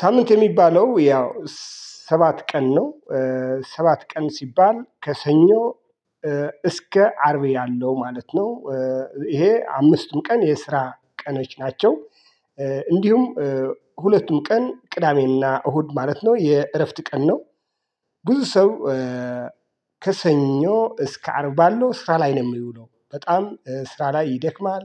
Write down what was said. ሳምንት የሚባለው ያው ሰባት ቀን ነው። ሰባት ቀን ሲባል ከሰኞ እስከ አርብ ያለው ማለት ነው። ይሄ አምስቱም ቀን የስራ ቀኖች ናቸው። እንዲሁም ሁለቱም ቀን ቅዳሜና እሁድ ማለት ነው የእረፍት ቀን ነው። ብዙ ሰው ከሰኞ እስከ አርብ ባለው ስራ ላይ ነው የሚውለው በጣም ስራ ላይ ይደክማል።